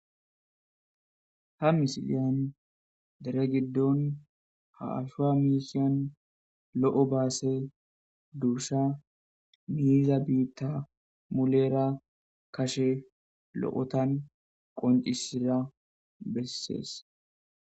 Ha misilyan dere giddon haashua miisiyon lo7o baase duursha miiza biitta mulera kashe lo7otan qoncisira bessees